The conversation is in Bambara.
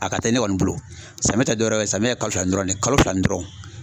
A ka teli ne kɔni bolo, samiya tɛ dɔwɛrɛ ye samiya ye kalo fila ni dɔrɔn de ye, kalo fila ni dɔrɔn.